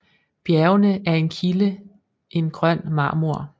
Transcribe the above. Bjergene er en kilde en grøn marmor